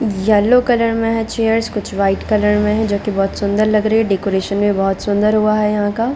Yellow colour में है chairs कुछ वाइट कलर में है जो की बहुत सुन्दर लग रही है डेकोरेशन भी बहुत सुन्दर हुआ है यहाँ का।